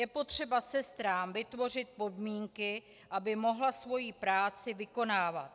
Je potřeba sestrám vytvořit podmínky, aby mohly svou práci vykonávat.